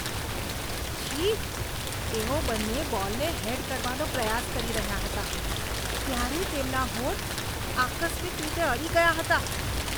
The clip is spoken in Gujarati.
છી! તેઓ બંને બોલને હેડ કરવાનો પ્રયાસ કરી રહ્યા હતા ત્યારે તેમના હોઠ આકસ્મિક રીતે અડી ગયા હતા.